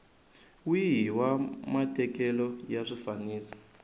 wihi wa matekelo ya swifaniso